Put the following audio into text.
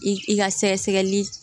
I ka sɛgɛsɛgɛli